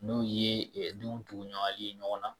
N'o ye denw ɲaga ye ɲɔgɔn na